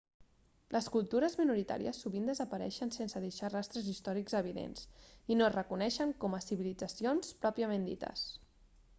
les cultures minoritàries sovint desapareixen sense deixar rastres històrics evidents i no es reconeixen com a civilitzacions pròpiament dites